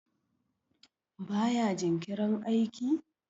baya jinkirin aiki?